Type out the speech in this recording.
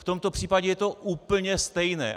V tomto případě je to úplně stejné.